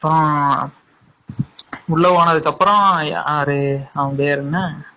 அப்பறம் உள்ள போனாதுகாப்பரம் யாரு அவன் பெயர் என்ன?